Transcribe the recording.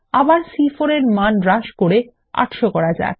আবার সি4 এর মান হ্রাস করে ৮০০ করা যাক